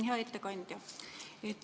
Hea ettekandja!